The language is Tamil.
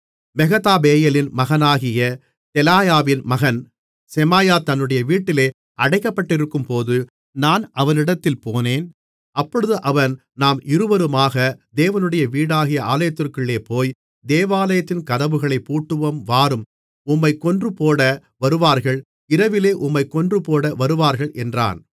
மெகதாபெயேலின் மகனாகிய தெலாயாவின் மகன் செமாயா தன்னுடைய வீட்டிலே அடைக்கப்பட்டிருக்கும்போது நான் அவனிடத்தில் போனேன் அப்பொழுது அவன் நாம் இருவருமாக தேவனுடைய வீடாகிய ஆலயத்திற்குள்ளே போய் தேவாலயத்தின் கதவுகளைப் பூட்டுவோம் வாரும் உம்மைக் கொன்றுபோட வருவார்கள் இரவிலே உம்மைக் கொன்றுபோட வருவார்கள் என்றான்